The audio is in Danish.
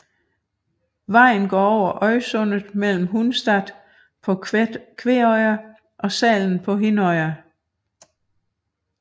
Vejen går over Øysundet mellem Hundstad på Kveøya og Salen på Hinnøya